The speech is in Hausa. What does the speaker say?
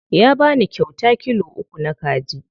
Ya bani kyauta kilo uku na kaji.